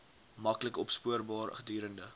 maklik opspoorbaar gedurende